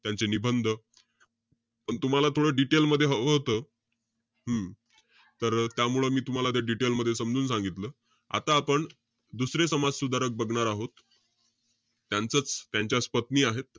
त्यांचे निबंध पण तुम्हाला थोडं detail मध्ये हवं होतं. हम्म तर, त्यामुळे मी तुम्हाला ते detail मध्ये समजून सांगितलं. आता आपण दुसरे समाज सुधारक बघणार आहोत. त्यांचंच, त्यांच्याच पत्नी आहेत.